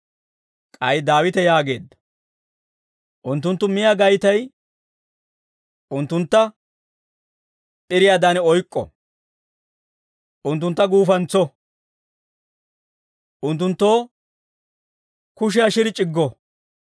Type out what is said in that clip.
K'ay Daawite yaageedda; «Unttunttu miyaa gaytay unttuntta p'iriyaadan oyk'k'o; unttuntta guufantso; unttunttoo kushiyaa shiri c'iggo.